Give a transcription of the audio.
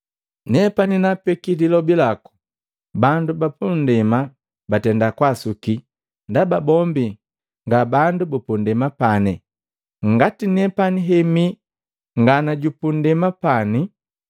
Nepani naapeki lilobi laku, bandu bapandema batenda kwaasuki ndaba bombi ngabandu bupundema pane, ngati nepani hemi nga jupunnndemapani.